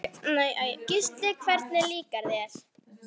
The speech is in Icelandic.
Gísli: Hvernig líkaði þér?